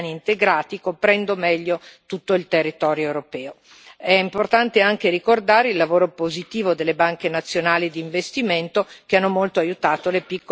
È importante anche ricordare il lavoro positivo delle banche nazionali d'investimento che hanno molto aiutato le piccole e medie imprese, soprattutto nel supporto tecnico e amministrativo.